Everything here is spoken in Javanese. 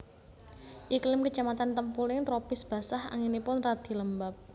Iklim kecamatan Tempuling tropis basah anginipun radi lembab